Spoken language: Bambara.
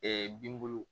binbolo